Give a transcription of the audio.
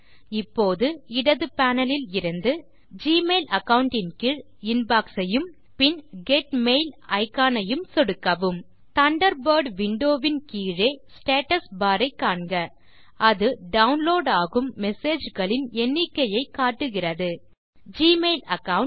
இப்போது இடது பேனல் இலிருந்து ஜிமெயில் அகாவுண்ட் ன் கீழ் இன்பாக்ஸ் ஐயும் பின் கெட் மெயில் இக்கான் ஐயும் சொடுக்கவும் தண்டர்பர்ட் விண்டோ வின் கீழே ஸ்டேட்டஸ் பார் ஐ காண்க அது டவுன்லோட் ஆகும் மெசேஜ் களின் எண்ணிக்கையை காட்டுகிறது ஜிமெயில் அகாவுண்ட்